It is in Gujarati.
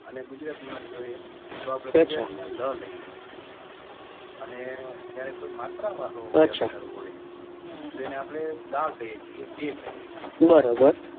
અને ગુજરાતી માં જોઈએ તો આપડે લ લઈએ અને ક્યારેક કોઈ માત્ર વાળો અલંકાર હોય તો એને આપડે લા કીએ છીએ કે દે કીએ છીએ